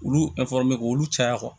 Olu k'olu caya